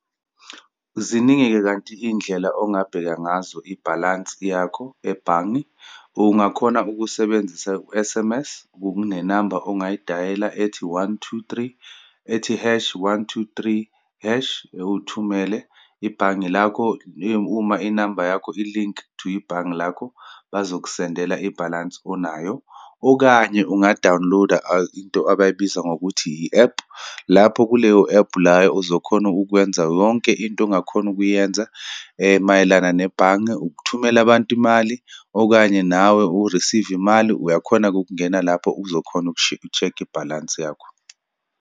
Ziningi-ke kanti iyindlela ongabheka ngazo ibhalansi yakho ebhange. Ungakhona ukusebenzisa u-S_M_S, kunenamba ongayidayela ethi, one, two, three, ethi hash, one, two, three, hash, uthumele. Ibhange lakho uma inamba yakho i-link to ibhange lakho, bazokusendela ibhalansi onayo, okanye unga dawuniloda into abayibiza ngokuthi i-ephu, lapho kuleyo ephu la uzokhona ukwenza yonke into ongakhona ukuyenza mayelana nebhange, ukuthumela abantu imali, okanye nawe u-receive-ve imali. Uyakhona-ke ukungena lapho uzokhona uku-check-a ibhalansi yakho.